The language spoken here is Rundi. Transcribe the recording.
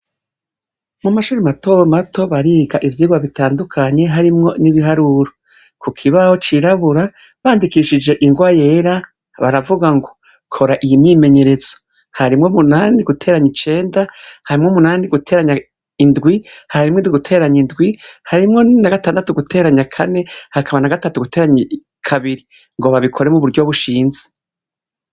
Mu mashuri mato mato bariga ivyigwa bitandukanye harimwo n'ibiharuro. Ku kibaho cirabura bandikishije ingwa yera; baravuga ngo "kora iyi myimenyerezo"; harimwo munani guteranya icenda, harimwo munani guteranya indwi, harimwo indwi guteranya indwi, harimwo na gatandatu guteranya kane, hakaba na gatatu guteranya kabiri, ngo babikore mu buryo bushinze.